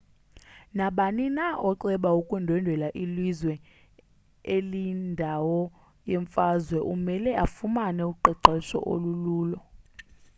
nabani na oceba ukundwendwela ilizwe eliyindawo yemfazwe umele afumane uqeqesho olululo